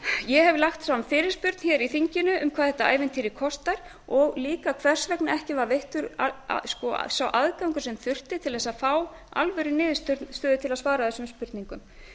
ég hef lagt fram fyrirspurn í þinginu um hvað þetta ævintýri kostar og líka hvers vegna ekki var veittur sá aðgangur sem þurfti til að fá alvöruniðurstöðu til að svara þessum spurningum